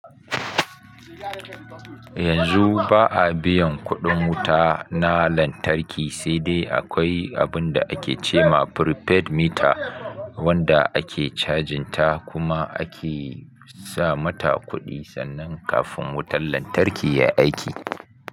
Yanzu ba a biyan kuɗin wuta na lantarki, sai dai akwai abun da ake ce ma prepaid meter wanda ake cajin ta kuma ake sa mata kuɗi sannan kafin wutan lantarki ya aiki.